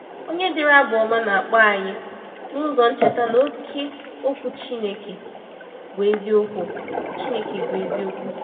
Onye dere Abụ Ọma na-akpọ anyị n’ụzọ ncheta na ‘oke Okwu Chineke bụ eziokwu.’ Chineke bụ eziokwu.’